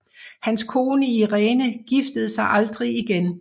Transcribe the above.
Hans kone Irene giftede sig aldrig igen